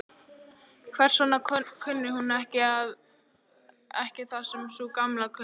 Hvers vegna kunni hún ekki það sem sú Gamla kunni?